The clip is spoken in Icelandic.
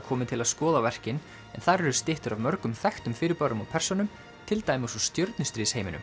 komi til að skoða verkin en þar eru styttur af mörgum þekktum fyrirbærum og persónum til dæmis úr